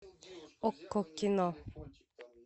окко кино